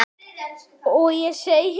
Og ég segi, nú?